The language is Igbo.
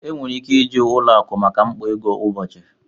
Enwere ike iji ụlọ akụ maka mkpa ego kwa ụbọchị